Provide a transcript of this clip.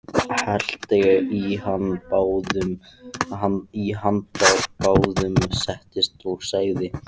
Hellti í handa báðum, settist og sagði